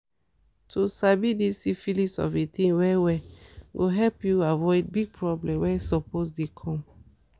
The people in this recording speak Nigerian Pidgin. to sabi this syphilis of a thing well well go help u avoid big problem were suppose dey come